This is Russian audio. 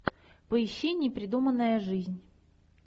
поищи непридуманная жизнь